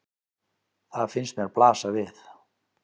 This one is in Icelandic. Það finnst mér blasa við.